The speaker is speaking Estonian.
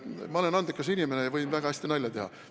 Ma olen andekas inimene ja võin hästi nalja teha.